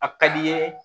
A ka di n ye